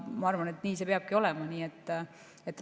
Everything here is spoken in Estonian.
Ma arvan, et nii see peabki olema.